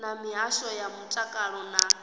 na mihasho ya mutakalo na